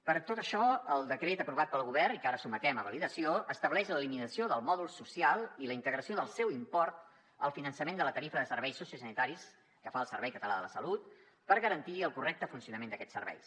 per tot això el decret aprovat pel govern i que ara sotmetem a validació estableix l’eliminació del mòdul social i la integració del seu import al finançament de la tarifa de serveis sociosanitaris que fa el servei català de la salut per garantir el correcte funcionament d’aquests serveis